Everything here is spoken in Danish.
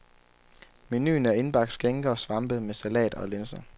Menuen er indbagt skinke og svampe med salat og linser.